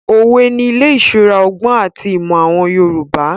Òwe ni ilé ìṣura ọgbọ́n àti ìmọ̀ àwọn Yorùbá.